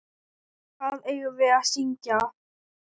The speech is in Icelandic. Hvað eigum við að syngja?